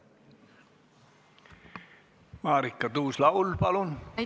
Marika Tuus-Laul, palun!